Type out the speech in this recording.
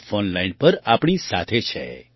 તેઓ ફૉનલાઇન પર આપણી સાથે છે